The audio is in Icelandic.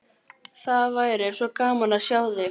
Það væri svo gaman að sjá þig.